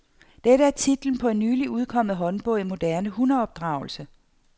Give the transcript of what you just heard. Dette er titlen på en nylig udkommet håndbog i moderne hundeopdragelse.